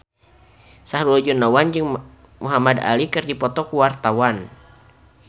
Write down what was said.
Sahrul Gunawan jeung Muhamad Ali keur dipoto ku wartawan